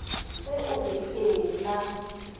ge o re ee na